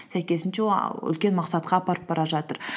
сәйкесінше үлкен мақсатқа апарып бара жатыр